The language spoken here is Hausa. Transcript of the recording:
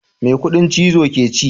Me kudin chizo ke ci.